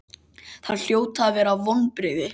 Þetta hljóta að vera vonbrigði?